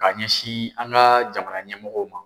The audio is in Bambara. K'a ɲɛsin an ka jamana ɲɛmɔgɔw ma.